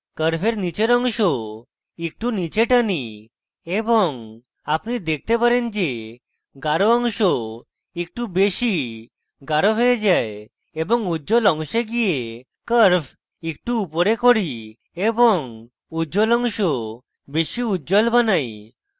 curve নীচের অংশ একটু নীচে টানি এবং আপনি দেখতে পারেন যে গাঢ় অংশ একটু বেশী গাঢ় হয়ে যায় এবং উজ্জ্বল অংশে গিয়ে curve একটু উপরে করি এবং উজ্জ্বল অংশ বেশী উজ্জ্বল বানাই